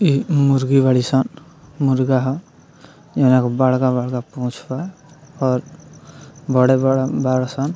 इ मुर्गी बड़ी सन मुर्गा ह एन गो बड़का-बड़का पूँछ बा और बड़े-बड़े बड़ा सन।